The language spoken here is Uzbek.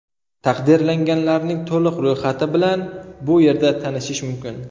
Taqdirlanganlarning to‘liq ro‘yxati bilan bu yerda tanishish mumkin .